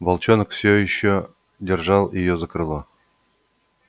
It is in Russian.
волчонок всё ещё держал её за крыло